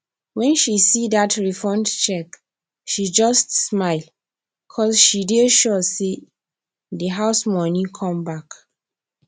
when she see that refund check she just smile cuz she dey sure say de house money come back